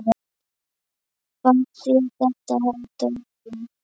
Fannst þér þetta hár dómur?